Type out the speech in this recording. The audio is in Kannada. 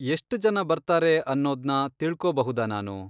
ಎಷ್ಟ್ ಜನ ಬರ್ತಾರೆ ಅನ್ನೋದ್ನ ತಿಳ್ಕೋಬಹುದಾ ನಾನು?